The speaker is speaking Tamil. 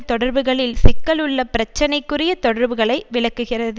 தொடர்புகளில் சிக்கலுள்ள பிரச்சனைக்குரிய தொடர்புகளை விளக்குகிறது